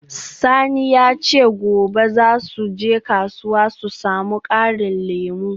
Sani ya ce gobe za su je kasuwa su samu karin lemu.